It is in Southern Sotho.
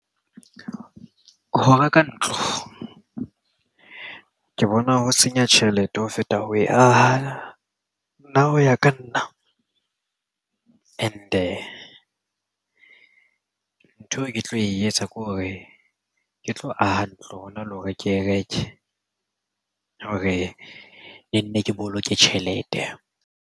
Ho reka ntlo ke bona ho senya tjhelete ho feta ho aha nna hoya ka nna and-e ntho eo ke tlo e etsa ke hore ke tlo aha ntlo hona le hore ke reke hore ne nne ke boloke tjhelete.